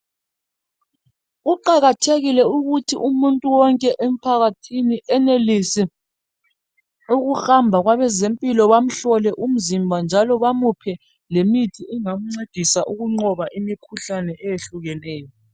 Kuqakathekile ukuthi umuntu wonke emphakathini enelise uhamba kwabezempilokahle bamhlole umzimba njalo bamuphe lemithi engamcedisa ukunqoba imkhuhlane eyehlukeneyo.